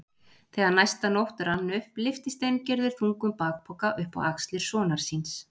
Þegar næsta nótt rann upp lyfti Steingerður þungum bakpoka upp á axlir sonar síns.